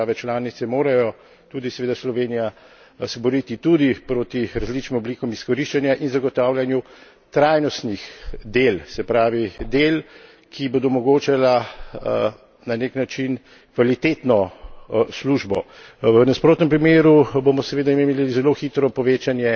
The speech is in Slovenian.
Da države članice morajo, tudi seveda Slovenija, se boriti tudi proti različnim oblikam izkoriščanja in zagotavljanju trajnostnih del, se pravi del, ki bodo omogočala na nek način kvalitetno službo. V nasprotnem primeru bomo seveda imeli zelo hitro povečanje